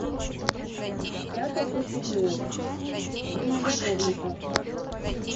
с пятой до седьмой время любовников